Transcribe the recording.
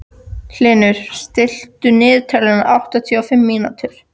Hlynur, stilltu niðurteljara á áttatíu og fimm mínútur.